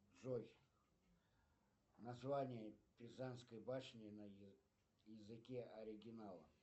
джой название пизанской башни на языке оригинала